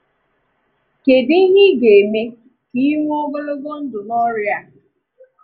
Kédụ ihe ị ga-eme ka ịnwè ogologo ndụ n’ọ̀rịa a?